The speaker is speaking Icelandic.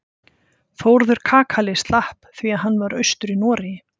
Þórður kakali slapp því að hann var austur í Noregi.